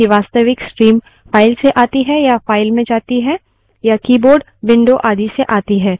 Linux में प्रक्रिया की प्रत्येक open खुली file एक पूर्णांक संख्या के साथ संयुक्त होती है